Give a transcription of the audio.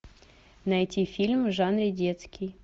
найти фильм в жанре детский